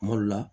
Kuma dɔ la